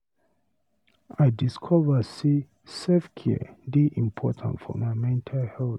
I discover say self-care dey important for my mental health.